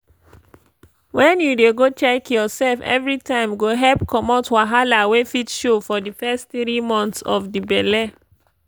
wen u dey go check your sef evri time go help commot wahala wey fit show for di fess tiri months of di belle